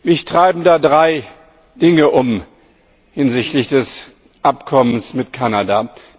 Mich treiben da drei Dinge um hinsichtlich des Abkommens mit Kanada.